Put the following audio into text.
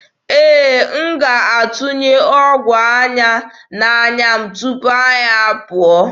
Ee, m ga-atụnye ọgwụ anya m n'anya tupu anyị apụọ.